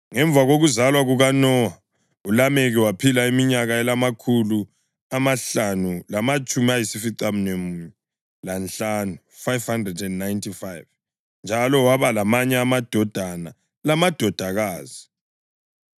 Ngemva kokuzalwa kukaNowa, uLameki waphila iminyaka engamakhulu amahlanu lamatshumi ayisificamunwemunye lanhlanu (595) njalo waba lamanye amadodana lamadodakazi.